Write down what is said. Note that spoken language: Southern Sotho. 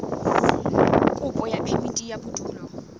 kopo ya phemiti ya bodulo